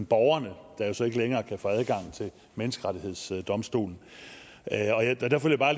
borgerne der jo så ikke længere kan få adgang til menneskerettighedsdomstolen